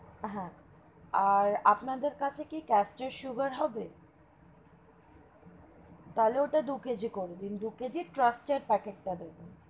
হা আর আপনাদের কাছে কি sugar হবে তাহলে ওটা দু KG করে দিন দু KG trust এর packet তা দেবেন।